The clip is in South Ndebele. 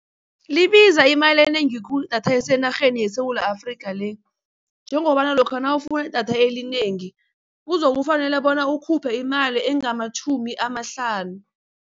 Libiza imali enengi khulu idatha elisenarheni yeSewula Afrika le, njengobana lokha nawufuna idatha elinengi kuzokufanele bona ukhuphe imali engamatjhumi amahlanu.